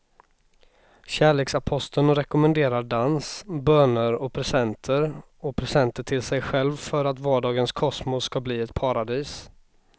Kärleksaposteln rekommenderar dans, böner och presenter och presenter till sig själv för att vardagens kosmos ska bli ett paradis.